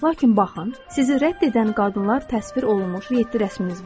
Xeyr, lakin baxın, sizi rədd edən qadınlar təsvir olunmuş yeddi rəsmimiz var.